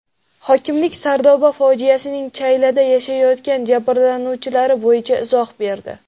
Hokimlik Sardoba fojiasining chaylada yashayotgan jabrlanuvchilari bo‘yicha izoh berdi.